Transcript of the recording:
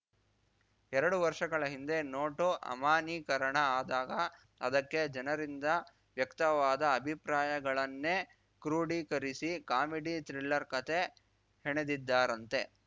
ಎರಡು ವರ್ಷಗಳ ಹಿಂದೆ ನೋಟು ಅಮಾನ್ಯೀಕರಣ ಆದಾಗ ಅದಕ್ಕೆ ಜನರಿಂದ ವ್ಯಕ್ತವಾದ ಅಭಿಪ್ರಾಯಗಳನ್ನೇ ಕ್ರೋಢೀಕರಿಸಿ ಕಾಮಿಡಿ ಥ್ರಿಲ್ಲರ್ ಕಥೆ ಹೆಣೆದಿದ್ದಾರಂತೆ